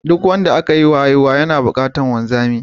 Duk wanda aka yiwa haihuwa yana buƙatar wanzami.